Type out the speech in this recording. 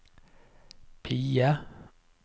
PIE